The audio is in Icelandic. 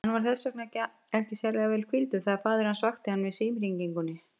Hann var þess vegna ekki sérlega vel hvíldur þegar faðir hans vakti hann með símhringingunni.